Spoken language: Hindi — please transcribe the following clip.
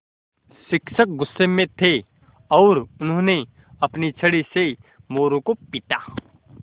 शिक्षक गुस्से में थे और उन्होंने अपनी छड़ी से मोरू को पीटा